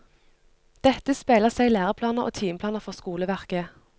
Dette speiler seg i læreplaner og timeplaner for skoleverket.